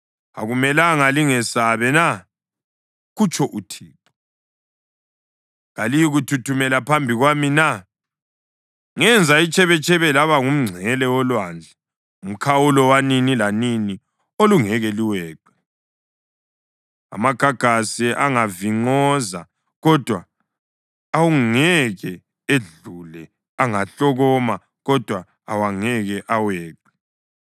Akumelanga lingesabe na?” kutsho uThixo. “Kaliyikuthuthumela phambi kwami na? Ngenza itshebetshebe laba ngumngcele wolwandle umkhawulo wanini lanini olungeke luweqe. Amagagasi angavinqoza, kodwa awangeke edlule, angahlokoma, kodwa awangeke aweqe.